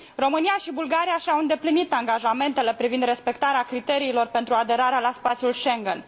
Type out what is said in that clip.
România și Bulgaria și au îndeplinit angajamentele privind respectarea criteriilor pentru aderarea la spațiul Schengen.